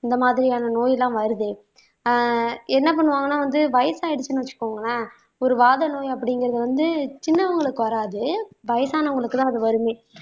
இந்த மாதிரியான நோய் எல்லாம் வருது ஆஹ் என்ன பண்ணுவாங்கன்னா வந்து வயசாயிடுச்சுன்னு வச்சுக்கோங்களேன் ஒரு வாத நோய் அப்படிங்கிறது வந்து சின்னவங்களுக்கு வராது வயசானவங்களுக்குதான் அது வருமே